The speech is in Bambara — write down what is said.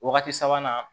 Wagati sabanan